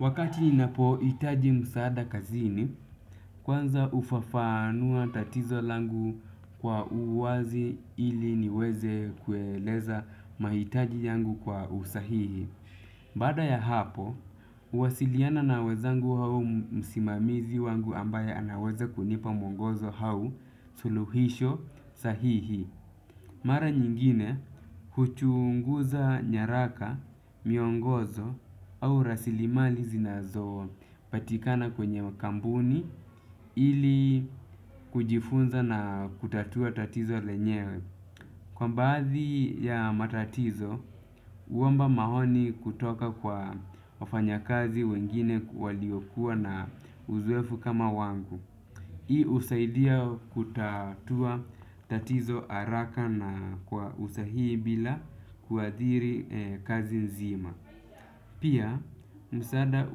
Wakati ninapohitaji msaada kazini, kwanza hufafanua tatizo langu kwa uwazi ili niweze kueleza mahitaji yangu kwa usahihi. Baada ya hapo, huwasiliana na wenzangu au msimamizi wangu ambaye anaweze kunipa mwongozo au suluhisho sahihi. Mara nyingine huchunguza nyaraka, miongozo au rasilimali zinazopatikana kwenye kampuni ili kujifunza na kutatua tatizo lenyewe. Kwa baadhi ya matatizo, huomba maoni kutoka kwa wafanyakazi wengine waliokuwa na uzoefu kama wangu. Hii husaidia kutatua tatizo haraka na kwa usahihi bila kuadhiri kazi nzima. Pia, msaada